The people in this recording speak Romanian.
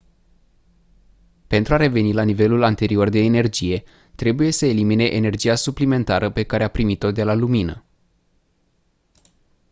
pentru a reveni la nivelul anterior de energie trebuie să elimine energia suplimentară pe care a primit-o de la lumină